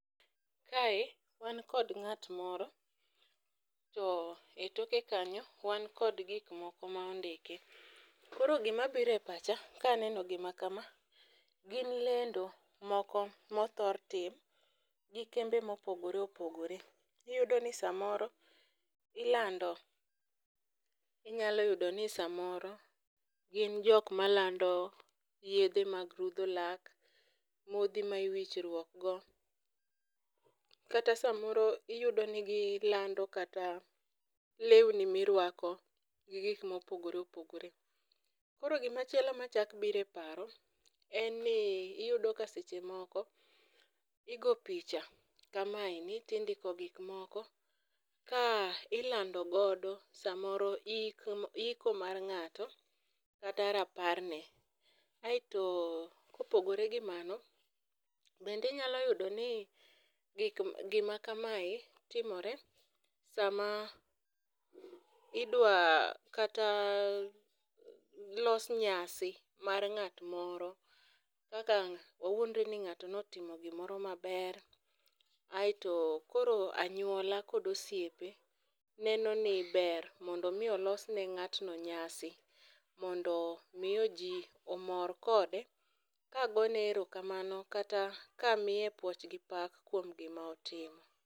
Kae, wan kod ng'at moro, to e toke kanyo wan kod gik moko ma ondiki. Koro gima biro e pacha ka aneno gima kama gin lendo moko ma othor tim gi kembe mopogore opogore. Iyudo ni samoro ilando, inyalo yudo ni samoro gin jok malando yiedhe mag rudho lak, modhi ma iwichruok go. Kata samoro iyudo ni gi lando kata lewni mirwako gi gik mopogore opogore. Koro gimachielo machak biro e paro en ni iyudo ka seche moko igo picha kamaendi ni to indiko gikmoko ka ilando godo samoro ik, iko mar ng'ato kata raparne. Aeto kopogre gi mano, bende nyalo yudo ni gik, gimakamae timore sama idwa kata los nyasi mar ng'at moro. Kaka wawuondre ni ng'ato notimo gimoro maber. Aeto koro anyuola kod osiepe neno ni ber mondo mi olos ne ng'atno nyasi. Mondo miyo ji omor kode kagone erokamano, kata ka miye puoch gi pak kuom gima otimo.